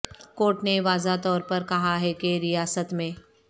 court نے واضح طور پر کہا ہے کہ ریاست میں